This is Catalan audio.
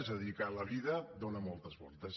és a dir que la vida dona moltes voltes